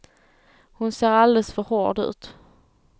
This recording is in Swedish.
Hon ser alldeles för hård ut.